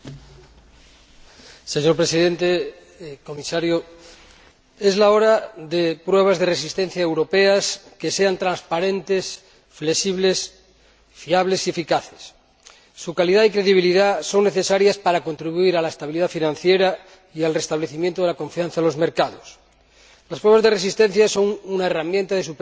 Señor Presidente, señor Comisario, es hora de llevar a cabo pruebas de resistencia europeas que sean transparentes, flexibles, fiables y eficaces su calidad y credibilidad son necesarias para contribuir a la estabilidad financiera y al restablecimiento de la confianza de los mercados. Las pruebas de resistencia son una herramienta de supervisión fundamental